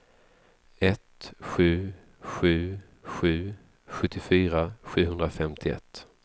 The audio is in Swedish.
ett sju sju sju sjuttiofyra sjuhundrafemtioett